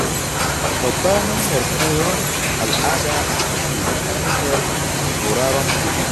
Babbar hanyar koyon al’ada ita ce ta hanyar sauraron manya.